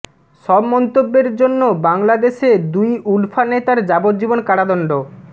সব মন্তব্যের জন্য বাংলাদেশে দুই উলফা নেতার যাবজ্জীবন কারাদন্ড